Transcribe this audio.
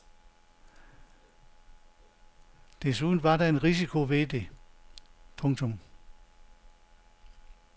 Desuden var der en risiko ved det. punktum